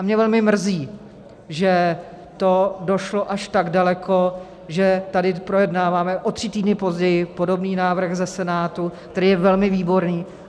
A mě velmi mrzí, že to došlo až tak daleko, že tady projednáváme o tři týdny později podobný návrh ze Senátu, který je velmi výborný.